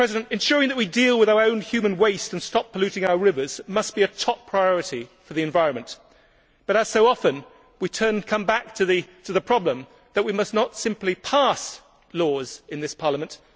Ensuring that we deal with our own human waste and stop polluting our rivers must be a top priority for the environment but, as so often, we come back to the problem that we must not simply pass laws in this Parliament